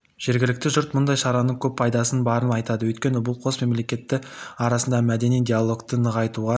жергілікті жұрт мұндай шараның көп пайдасы барын айтады өйткені бұл қос мемлекет арасындағы мәдени диалогты нығайтуға